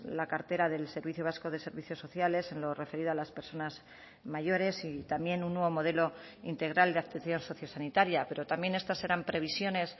la cartera del servicio vasco de servicios sociales en lo referido a las personas mayores y también un nuevo modelo integral de actuación sociosanitaria pero también estas eran previsiones